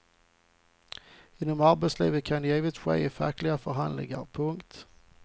Inom arbetslivet kan det givetvis ske i fackliga förhandlingar. punkt